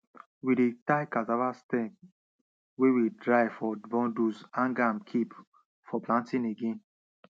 we dey tie cassava sterm wey we dry for bundles hang am kip for planting again